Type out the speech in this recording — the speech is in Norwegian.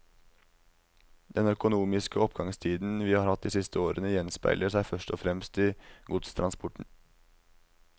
Den økonomiske oppgangstiden vi har hatt de siste årene, gjenspeiler seg først og fremst i godstransporten.